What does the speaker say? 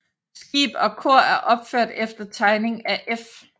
Skib og kor er opført efter tegning af F